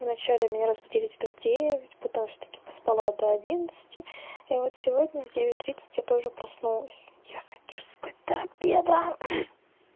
в начале меня разбудили где то в девять потом всё таки поспала до одиннадцати и вот сегодня в девять тридцать я тоже проснулась я хочу спать до обеда